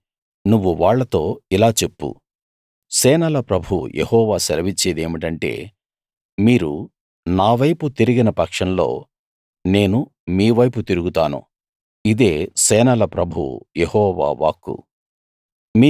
కాబట్టి నువ్వు వాళ్ళతో ఇలా చెప్పు సేనల ప్రభువు యెహోవా సెలవిచ్చేది ఏమిటంటే మీరు నావైపు తిరిగిన పక్షంలో నేను మీ వైపు తిరుగుతాను ఇదే సేనల ప్రభువు యెహోవా వాక్కు